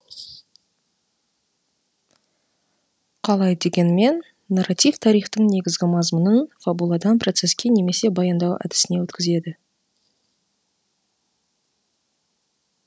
қалай дегенмен нарратив тарихтың негізгі мазмұнын фабуладан процесске немесе баяндау әдісіне өткізеді